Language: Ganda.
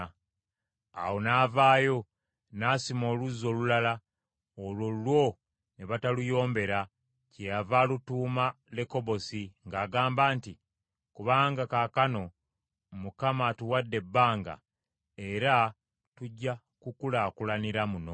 Awo n’avaayo n’asima oluzzi olulala, olwo lwo ne bataluyombera, kyeyava alutuuma Lekobosi, ng’agamba nti, “Kubanga kaakano Mukama atuwadde ebbanga, era tujja kukulaakulanira muno.”